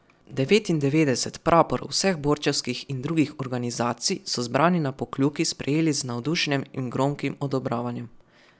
Devetindevetdeset praporov vseh borčevskih in drugih organizacij so zbrani na Pokljuki sprejeli z navdušenjem in gromkim odobravanjem.